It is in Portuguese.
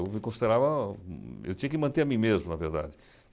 Eu me considerava... Eu tinha que manter a mim mesmo, na verdade.